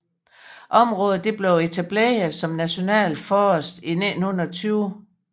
Området blev etableret som national forest i 1920